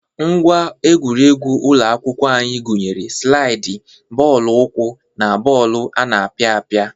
Ngwa egwuregwu ụlọ akwụkwọ anyị gụnyere slaiịdị, bọọlụ ụkwụ na bọọlụ ana apịa apịa.